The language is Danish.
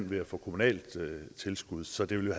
ved at få kommunalt tilskud så det ville